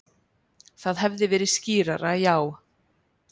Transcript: Það hefði verið skýrara, já.